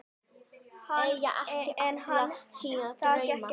En það gekk ekki vel.